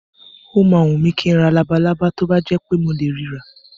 Ó máa wùn mí kí n ra labalábá tó bá jẹ́ pé mo lè ri rà.